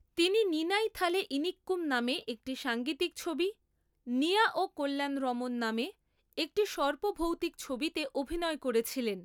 তিনি 'নিনাইথালে ইনিক্কুম' নামে একটি সাঙ্গীতিক ছবি, 'নিয়া ও কল্যাণরমণ' নামে একটি সর্প ভৌতিক ছবিতে অভিনয় করেছিলেন।